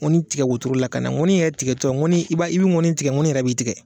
Ŋɔni tigɛ wotoro la ka na, ŋɔni yɛrɛ tigɛtɔ ŋɔni, i b'a i bɛ ŋɔni tigɛ ŋɔni yɛrɛ b'i tigɛ.